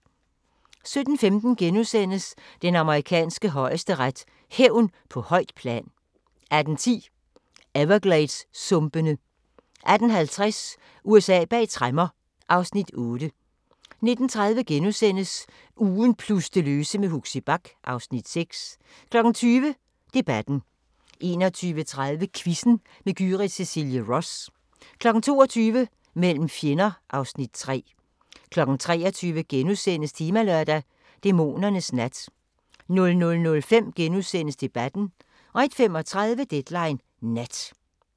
17:15: Den amerikanske højesteret: Hævn på højt plan * 18:10: Evergladessumpene 18:50: USA bag tremmer (Afs. 8) 19:30: Ugen plus det løse med Huxi Bach (Afs. 6)* 20:00: Debatten 21:30: Quizzen med Gyrith Cecilie Ross 22:00: Mellem fjender (Afs. 3) 23:00: Temalørdag: Dæmonernes nat * 00:05: Debatten * 01:35: Deadline Nat